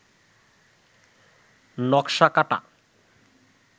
নকশা কাটা